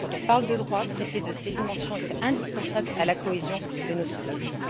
Quand on parle de droits, traiter de ces dimensions est indispensable à la cohésion de nos sociétés.